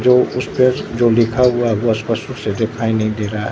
जो उसपे जो लिखा हुआ है वो स्पष्ट दिखाई नहीं दे रहा है।